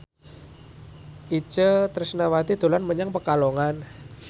Itje Tresnawati dolan menyang Pekalongan